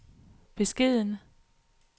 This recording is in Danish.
beskeden